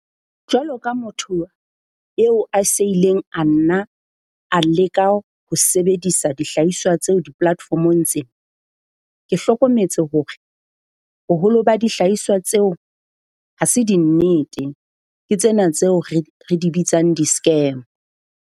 Jwalo ka motho eo a se ileng a nna a leka ho sebedisa dihlahiswa tseo di-platform-ong tse, ke hlokometse hore boholo ba dihlahiswa tseo ha se dinnete. Ke tsena tseo re re di bitsang, di-scam.